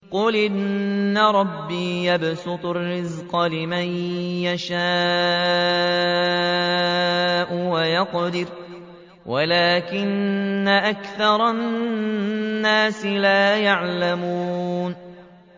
قُلْ إِنَّ رَبِّي يَبْسُطُ الرِّزْقَ لِمَن يَشَاءُ وَيَقْدِرُ وَلَٰكِنَّ أَكْثَرَ النَّاسِ لَا يَعْلَمُونَ